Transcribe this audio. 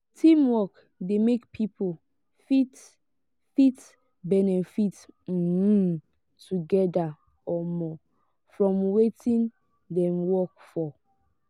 teamwork de make pipo fit fit benefit um together um from wetin dem work for